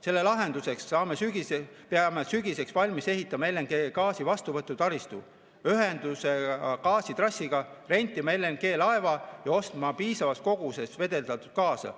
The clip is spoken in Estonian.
Selle lahendusena peame sügiseks valmis ehitama LNG vastuvõtu taristu, ühenduse gaasitrassiga, rentima LNG‑laeva ja ostma piisavas koguses gaasi.